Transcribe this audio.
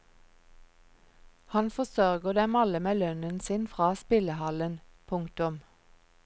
Han forsørger dem alle med lønnen sin fra spillehallen. punktum